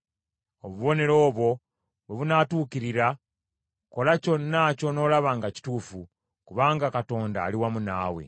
Obubonero obwo bwe bunaatuukirira, kola kyonna ky’onoolaba nga kituufu, kubanga Katonda ali wamu naawe.